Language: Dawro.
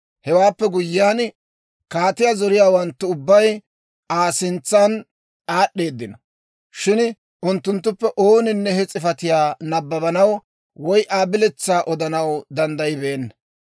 Hewaappe guyyiyaan, kaatiyaa zoriyaawanttu ubbay Aa sintsa aad'd'eedino; shin unttunttuppe ooninne he s'ifatiyaa nabbabanaw, woy Aa biletsaa odanaw danddayibeenna.